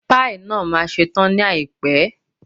Páì náà ma ṣe tán ní àìpẹ́.